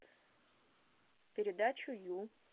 передачу ю